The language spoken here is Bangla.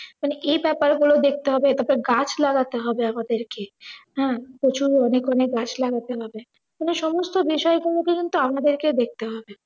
মানে এই বাপারগুলো দেখতে হবে, তারপরে গাছ লাগাতে হবে আমাদেরকে। হ্যাঁ, প্রচুর পরিমাণে গাছ লাগাতে হবে। এই সমস্ত বিষয়গুলো কিন্তু আমাদেরকে দেখতে হবে।